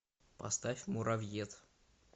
поставь муравьед